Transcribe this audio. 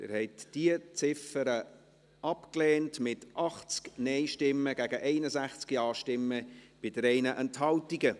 Sie haben diese Ziffer abgelehnt, mit 80 Nein- gegen 61 Ja-Stimmen bei 3 Enthaltungen.